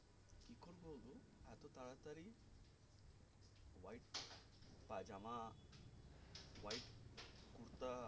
পাজামা white kurta